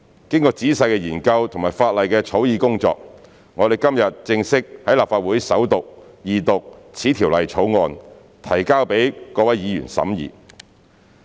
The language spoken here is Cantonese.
經過仔細的研究和法例草擬工作，我們今天正式在立法會首讀、二讀《條例草案》，提交予各位議員審議。